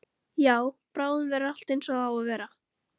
Já, bráðum verður allt einsog það á að vera.